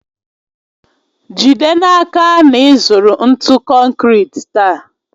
Jide n'aka na ị zụrụ ntụ konkịtị taa